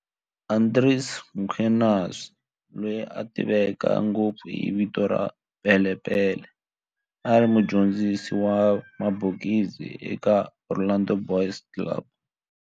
Andries Mkhwanazi, loyi a tiveka ngopfu hi vito ra"Pele Pele", a ri mudyondzisi wa mabokisi eka Orlando Boys Club